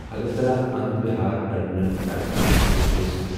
Agartala Anand Vihar terminal Rajdhani express